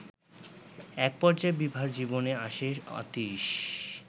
একপর্যায়ে বিভার জীবনে আসে অতীশ